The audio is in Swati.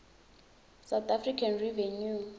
south african revenue